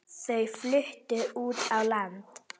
Þau fluttu út á land.